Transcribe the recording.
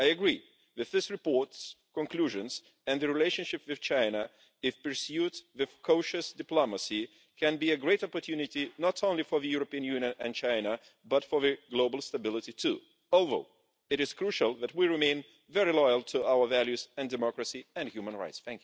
I agree with this report's conclusions and the relationship with China, if pursued with cautious diplomacy, can be a great opportunity not only for the European Union and China, but for global stability too, although it is crucial that we remain very loyal to our values, and to democracy and human rights.